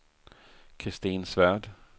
Kristin Svärd